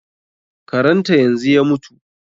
Karan ta yanzu ya mutu.